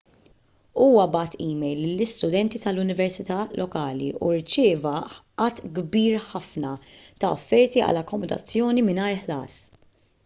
huwa bagħat email lill-istudenti tal-università lokali u rċieva għadd kbir ħafna ta' offerti għal akkomodazzjoni mingħajr ħlas